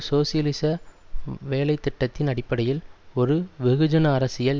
சோசியலிச வேலை திட்டத்தின் அடிப்படையில் ஒரு வெகுஜன அரசியல்